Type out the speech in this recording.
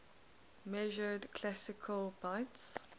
measured classical bits